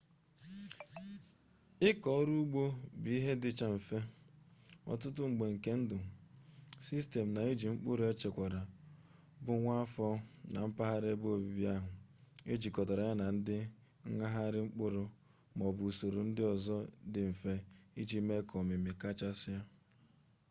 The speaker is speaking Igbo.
ịkọ ọrụ ugbo bụ ihe dịcha mfe ọtụtụ mgbe nke ndụ sistem n'iji nkpụrụ echekwara bụ nwa afọ na mphaghara ebe obibi ahụ ejikọtara ya na nghagharị mkpụrụ ma ọ bụ usoro ndị ọzọ dị mfe iji mee ka ọmịmị kachasị